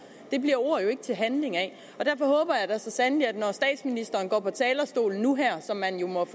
det bliver ord jo ikke til handling af derfor håber jeg da så sandelig at når statsministeren går på talerstolen nu som man jo må